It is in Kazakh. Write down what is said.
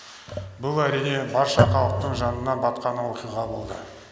бұл әрине барша халықтың жанына батқан оқиға болды